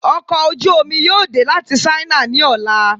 Ọkọ̀ ojú omi yóò dẹ láti sáínà ni ọla